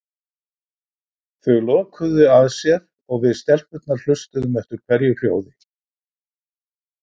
Þau lokuðu að sér og við stelpurnar hlustuðum eftir hverju hljóði.